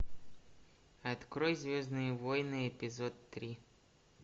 открой звездные войны эпизод три